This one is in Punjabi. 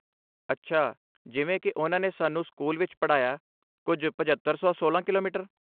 ਅੱਛਾ, ਜਿਵੇਂ ਕੀ ਉਨ੍ਹਾਂ ਨੇ ਸਾਨੂੰ ਸਕੂਲ ਵਿੱਚ ਪੜ੍ਹਾਇਆ, ਕੁੱਝ, ਪਝੱਤਰ ਸੌ ਸੋਲਾਂ ਕਿਲੋਮੀਟਰ?